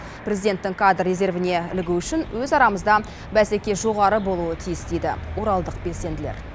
президенттің кадр резервіне ілігу үшін өз арамызда бәсеке жоғары болуы тиіс дейді оралдық белсенділер